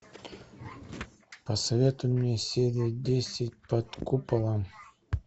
посоветуй мне серия десять под куполом